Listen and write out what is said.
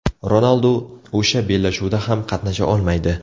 Ronaldu o‘sha bellashuvda ham qatnasha olmaydi.